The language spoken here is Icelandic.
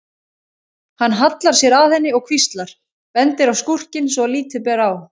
Hann hallar sér að henni og hvíslar, bendir á skúrkinn svo að lítið ber á.